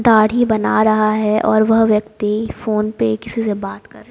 दाढ़ी बना रहा है और वह व्यक्ति फोन पे किसी से बात कर --